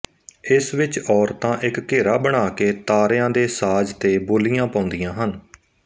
ਇਸ ਵਿੱਚ ਔਰਤਾਂ ਇੱਕ ਘੇਰਾ ਬਣਾ ਕੇ ਤਾਰਿਆਂ ਦੇ ਸਾਜ਼ ਤੇ ਬੋਲੀਆਂ ਪਾਉਂਦੀਆਂ ਹਨ